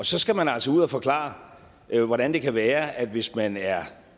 så skal man altså ud og forklare hvordan det kan være at hvis man er